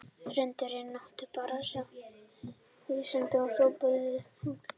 Hrund: Er náttúran bara að stríða ykkur vísindamönnunum og hrópa úlfur, úlfur aftur og aftur?